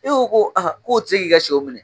E ko ko k'o ti se k'i ka sɛw minɛ